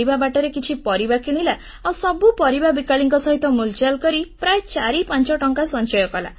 ଫେରିବା ବାଟରେ କିଛି ପରିବା କିଣିଲା ଆଉ ସବୁ ପରିବା ବିକାଳିଙ୍କ ସହିତ ମୁଲଚାଲ କରି ପ୍ରାୟ ଚାରିପାଞ୍ଚ ଟଙ୍କା ସଞ୍ଚୟ କଲା